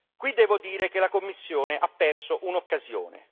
Qui devo dire che la Commissione ha perso un'occasione.